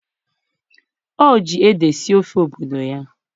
o ji ede sie ofe obodo ya.